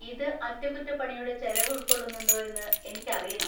ഇത് അറ്റകുറ്റപ്പണിയുടെ ചെലവ് ഉൾക്കൊള്ളുന്നുണ്ടോയെന്ന് എനിക്കറിയണം.